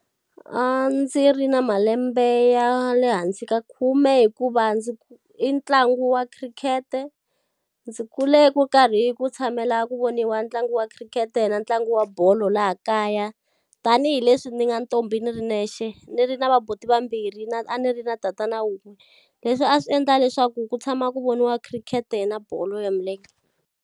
A ndzi ri na malembe ya le hansi ka khume hikuva ndzi i ntlangu wa khirikhete. Ndzi kule ku karhi hi ku tshamela ku voniwa ntlangu wa khirikhete na ntlangu wa bolo laha kaya. Tanihi leswi ni nga ntombi ni ri nexe, ni ri na vabuti vambirhi na a ni ri na tatana wun'we. Leswi a swi endla leswaku ku tshama ku voniwa khirikhete na bolo ya milenge.